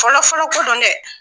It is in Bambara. Fɔlɔfɔlɔ fɔlɔ dɛ!